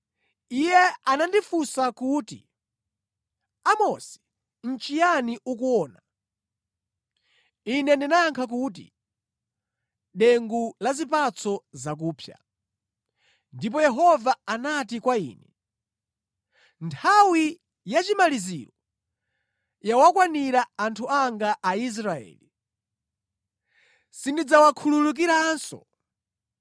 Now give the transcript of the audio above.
Iye anandifunsa kuti, “Amosi nʼchiyani ukuona?” Ine ndinayankha kuti, “Dengu la zipatso zakupsa.” Ndipo Yehova anati kwa ine, “Nthawi yachimaliziro yawakwanira anthu anga Aisraeli; sindidzawakhululukiranso.